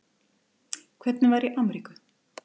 Hvernig var í Ameríku?